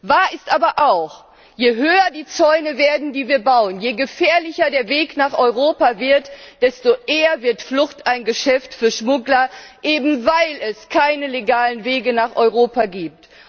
Wahr ist aber auch Je höher die Zäune werden, die wir bauen, je gefährlicher der Weg nach Europa wird, desto eher wird Flucht ein Geschäft für Schmuggler, eben weil es keine legalen Wege nach Europa gibt.